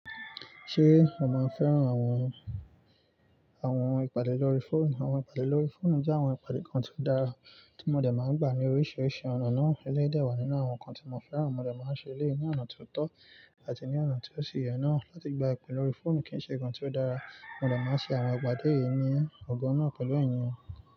Ṣé mo máa ń fẹ́ràn àwọn, àwọn ìpàdé lórí fóònù? Àwọn ìpàdé lórí fóònù jẹ́ àwọn ìpàdé kan tí ó dára tí mo dẹ̀ máa ń gbà ní oríṣiríṣi ọ̀nà náà. Eléyìí dẹ̀ wà nínú àwọn nǹkan tí mo fẹ́ràn, mo dẹ̀ máa ń ṣe eléyìí ní ọ̀nà tó tọ́ àti ní ọ̀nà tí ó si iyè náà. Láti gba ìpè lórí fóònù kì í ṣe nǹkan tí ó dára, mo dẹ̀ máa ń ṣe àwọn ipàdé yìí ní ọgbọ́n náà pẹ̀lú ènìyàn.